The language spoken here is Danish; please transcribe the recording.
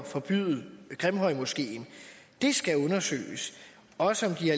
forbyde grimhøjmoskeen det skulle undersøges også om de